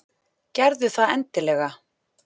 Gerðu það endilega!